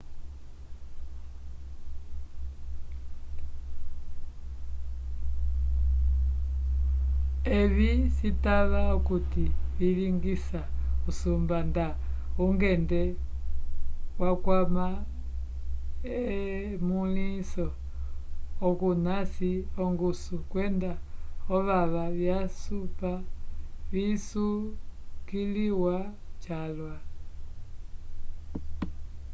evi citava okuti vilingisa usumba nda ongende wakwama emõliso okunasi ongusu kwenda ovava vyasupa visukiliwa calwa